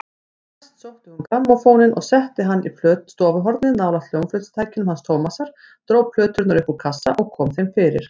Næst sótti hún grammófóninn og setti hann í stofuhornið nálægt hljómflutningstækjunum hans Tómasar, dró plöturnar upp úr kassa og kom þeim fyrir.